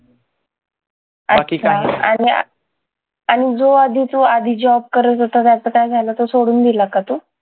बाकी काही आणि आणि जो आधीचा जो आधी job करत होता त्याच काय झालं? तो सोडून दिला का तू?